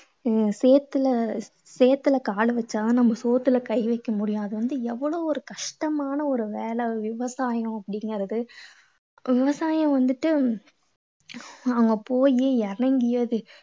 இவங்க சேத்துல அஹ் சேத்துலகால் வெச்சா தான் நம்ம சோத்துல கை வைக்க முடியும். அது வந்து எவ்வளோ ஒரு கஷ்டம். கஷ்டமான ஒரு வேலை விவசாயம் அப்படீங்கறது விவசாயம் வந்துட்டு அவங்க போயி இறங்கி